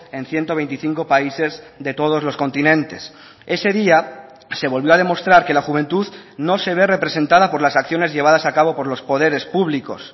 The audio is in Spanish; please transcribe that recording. en ciento veinticinco países de todos los continentes ese día se volvió a demostrar que la juventud no se ve representada por las acciones llevadas a cabo por los poderes públicos